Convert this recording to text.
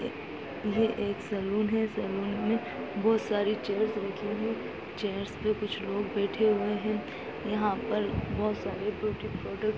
ये एक सैलून है सैलून मे बहोत सारी चेयर्स रखी हुई चेयर्स पे कुछ लोग बैठे हुए हैं यहाँ पर बहोत सारे ब्यूटी प्रोडक्टस --